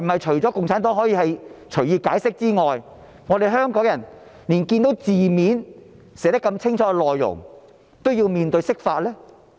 除了共產黨可以隨意解釋寫在《基本法》的條文外，香港人是否連字面上清楚寫明的內容也要面對釋法？